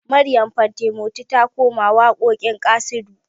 Maryam fantimoti ta koma waƙoƙin ƙasidu